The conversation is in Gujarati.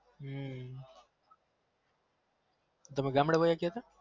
હમ તમે ગામડામ વાયા ગયા તા